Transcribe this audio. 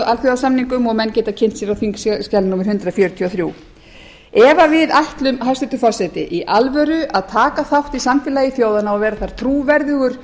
alþjóðasamningum og menn geta kynnt sér á þingskjali númer hundrað fjörutíu og þrjú ef við ætlum hæstvirtur forseti í alvöru að taka þátt í samfélagi þjóðanna og vera þar trúverðugur